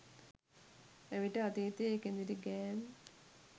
එවිට අතීතයේ කෙඳිරිගෑම්